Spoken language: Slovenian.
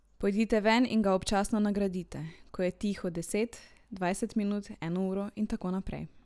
Pojdite ven in ga občasno nagradite, ko je tiho deset, dvajset minut, eno uro in tako naprej.